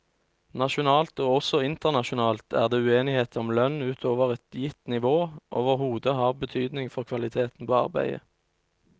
Nasjonalt og også internasjonalt er det uenighet om lønn utover et gitt nivå overhodet har betydning for kvaliteten på arbeidet.